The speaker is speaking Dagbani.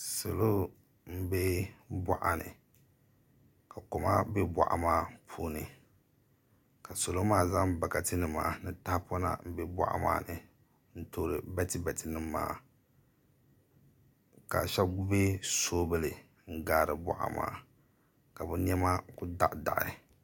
Salo m-be bɔɣa ni ka koma be bɔɣa maa puuni ka salo maa zaŋ bɔɣatinima ni taɣipɔna m-be bɔɣa maa ni n-toori batibatinima maa ka shɛba mi gbubi soovili n-gaari bɔɣa maa ka bɛ nɛma kuli daɣidaɣi